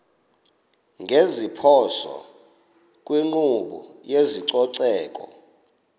ngeziphoso kwinkqubo yezococeko